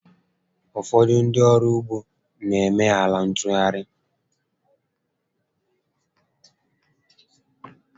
Ụfọdụ ndị ọrụ ụgbọ na eme ala ntụgharị